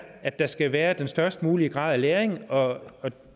at der skal være den størst mulige grad af læring og den